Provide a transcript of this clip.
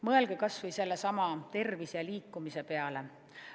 Mõelge kas või sellesama tervise ja liikumise peale.